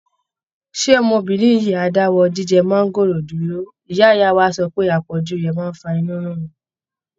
Ṣé ọmọbìnrin yìí á dáwọ́ jíjẹ máńgóòrò dúró, ìyá ìyá wa sọ pé àpọ̀jù rẹ̀ ń fa inú rírun?